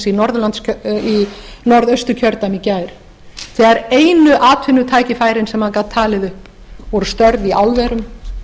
í norðausturkjördæmi í gær þegar einu atvinnutækifærin sem hann gat talið upp voru störf í álverum